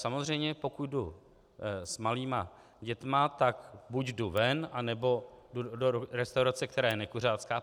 Samozřejmě pokud jdu s malými dětmi, tak buď jdu ven, nebo jdu do restaurace, která je nekuřácká.